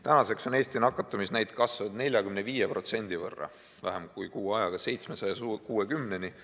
Tänaseks on Eesti nakatumisnäitaja kasvanud 45%, vähem kui kuu ajaga oleme jõudnud 760-ni.